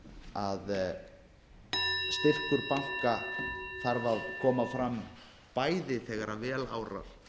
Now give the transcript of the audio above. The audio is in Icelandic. að styrkur banka þarf að koma fram bæði þegar vel árar